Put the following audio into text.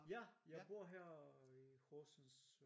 Ja jeg bor her i Horsens